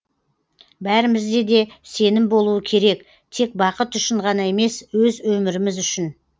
бәрімізде де сенім болуы керек тек бақыт үшін ғана емес өз өміріміз үшін